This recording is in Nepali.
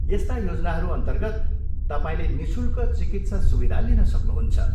यस्ता योजनाहरू अन्तर्गत, तपाईँले निःशुल्क चिकित्सा सुविधा लिन सक्नुहुन्छ।